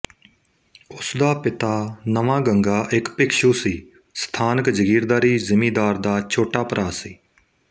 ਉਸਦਾ ਪਿਤਾ ਨਵਾਂਗੰਗਾ ਇੱਕ ਭਿਕਸ਼ੂ ਸੀ ਸਥਾਨਕ ਜਗੀਰਦਾਰੀ ਜ਼ਿਮੀਂਦਾਰ ਦਾ ਛੋਟਾ ਭਰਾ ਸੀ